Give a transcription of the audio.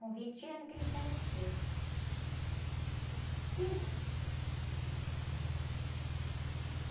Com vinte anos que ele faleceu. Ih...onta um pouco, como é que foi esse segundo casamento?